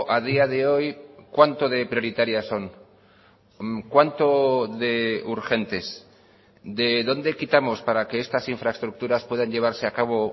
a día de hoy cuánto de prioritarias son cuánto de urgentes de dónde quitamos para que estas infraestructuras puedan llevarse a cabo